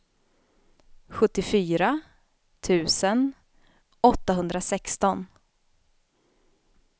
sjuttiofyra tusen åttahundrasexton